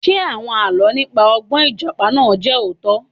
Ṣé àwọn Àlọ́ nípa ọgbọ́n Ìjàpá náà jẹ́ òótọ́?